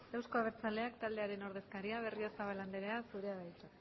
euzko abertzaleak taldearen ordezkaria berriozabal anderea zurea da hitza